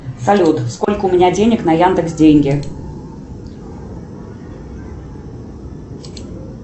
салют сколько у меня денег на яндекс деньги